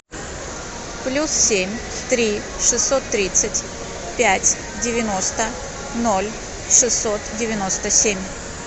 плюс семь три шестьсот тридцать пять девяносто ноль шестьсот девяносто семь